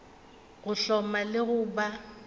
go hloma le go ba